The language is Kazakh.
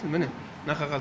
міне мына қағазды